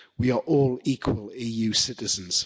We are all equal EU citizens.